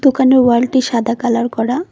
দোকানের ওয়াল -টি সাদা কালার করা।